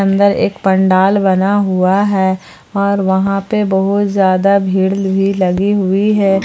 Under एक पंडाल बना हुआ है और वहां पे बहुत ही ज्यादा भीड़ लगी हुई है।